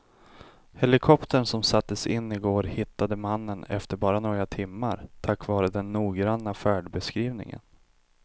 Helikoptern som sattes in i går hittade mannen efter bara några timmar tack vare den noggranna färdbeskrivningen.